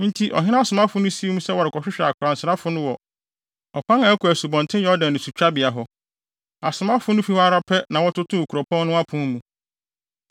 Enti, ɔhene asomafo no sii mu sɛ wɔrekɔhwehwɛ akwansrafo no wɔ ɔkwan a ɛkɔ Asubɔnten Yordan asutwabea hɔ. Asomafo no fi hɔ ara pɛ na wɔtotoo kuropɔn no apon mu.